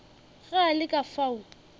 ge a le ka fao